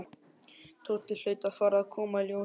Tóti hlaut að fara að koma í ljós.